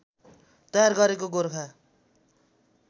तयार गरेको गोरखा